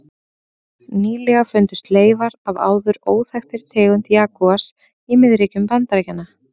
Nýlega fundust leifar af áður óþekktri tegund jagúars í miðríkjum Bandaríkjanna.